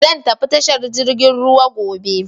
Zan tafi tashar jirgin ruwa gobe.